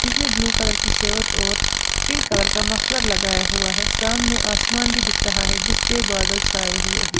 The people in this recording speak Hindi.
इसने ब्लू कलर की शर्ट और पिंक कलर का मफलर लगाया हुआ है सामने आसमान भी दिख रहा है जिसपे बादल छाए हुए हैं।